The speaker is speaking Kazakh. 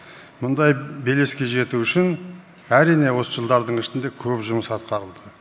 мұндай белеске жету үшін әрине осы жылдардың ішінде көп жұмыс атқарылды